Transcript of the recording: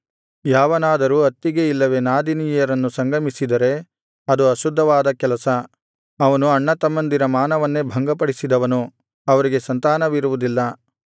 ಯಾವನಾದರೂ ಅತ್ತಿಗೆ ಇಲ್ಲವೇ ನಾದಿನಿಯರನ್ನು ಸಂಗಮಿಸಿದರೆ ಅದು ಅಶುದ್ಧವಾದ ಕೆಲಸ ಅವನು ಅಣ್ಣತಮ್ಮಂದಿರ ಮಾನವನ್ನೇ ಭಂಗಪಡಿಸಿದವನು ಅವರಿಗೆ ಸಂತಾನವಿರುವುದಿಲ್ಲ